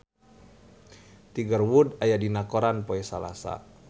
Tiger Wood aya dina koran poe Salasa